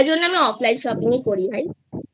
তাই জন্য আমি offline shopping ই করি ভাইI